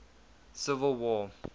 civil war